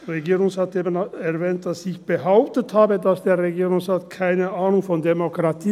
Der Regierungsrat hat eben erwähnt, dass ich behauptet hätte, der Regierungsrat habe keine Ahnung von Demokratie.